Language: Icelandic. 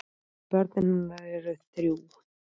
Börn hennar eru þrjú.